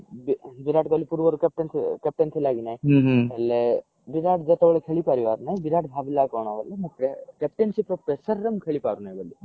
ବିରାଟ କୋହଲୀ ପୂର୍ବରୁ captain ଥିଲା captain ଥିଲା କି ନାହିଁ ହେଲେ ବିରାଟ ଯେତେବେଳେ ଖେଳି ପାରିଲା ନାହିଁ ବିରାଟ ଭବିଲ କି କଣ ବୋଲି ମୁ captainship ର pressure ରେ ମୁ ଖେଳି ପାରୁ ନାହିଁ ବୋଲି